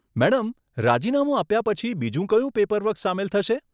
Madam, રાજીનામું આપ્યાં પછી, બીજું કયું પેપરવર્ક સામેલ થશે?